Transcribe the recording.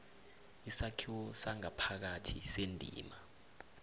isakhiwo sangaphakathi sendima